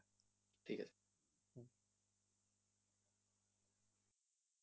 ঠিক আছে।